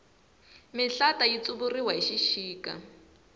mihlata yi tsuvuriwa hi xixika